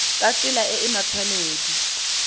ka tsela e e matshwanedi